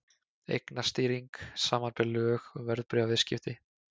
Eignastýring, samanber lög um verðbréfaviðskipti.